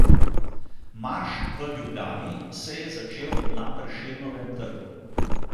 Marš v Ljubljani se je začel na Prešernovem trgu.